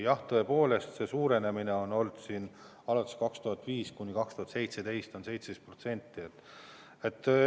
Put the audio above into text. Jah, tõepoolest, aastail 2005– 2017 on suurenemine olnud 17%.